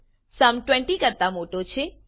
sum 20 કરતા મોટો છે